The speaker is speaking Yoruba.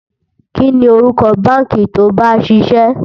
kí ní orúkọ bánkì to bá ń síse?